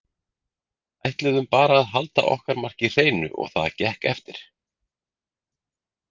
Ætluðum bara að halda okkar marki hreinu og það gekk eftir.